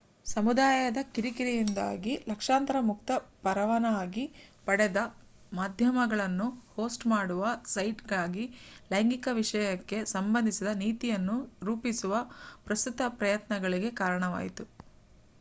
ಸಮುದಾಯದ ಕಿರಿಕಿರಿಯಿಂದಾಗಿ ಲಕ್ಷಾಂತರ ಮುಕ್ತ-ಪರವಾನಗಿ ಪಡೆದ ಮಾಧ್ಯಮಗಳನ್ನು ಹೋಸ್ಟ್ ಮಾಡುವ ಸೈಟ್‌ಗಾಗಿ ಲೈಂಗಿಕ ವಿಷಯಕ್ಕೆ ಸಂಬಂಧಿಸಿದ ನೀತಿಯನ್ನು ರೂಪಿಸುವ ಪ್ರಸ್ತುತ ಪ್ರಯತ್ನಗಳಿಗೆ ಕಾರಣವಾಯಿತು